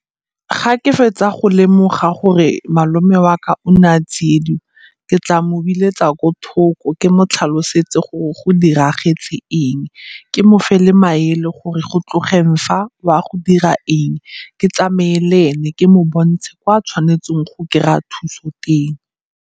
Ga ke fetsa go lemoga gore malome wa ka o ne a tsiediwa, ke tla mo biletsa ko thoko ke mo tlhalosetse gore go diragetse eng. Ke mofe le maele gore go tlogeng fa, o a go dira eng, ke tsamaye le ena ke mo bontshe kwa a tshwanetseng go kry-a thuso teng.